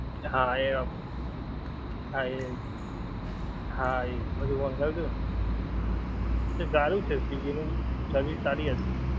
હા એ હા એહા ઈ બધુ મંગાવ્યું હતું તો સારું છે swiggy નું service સારી હતી.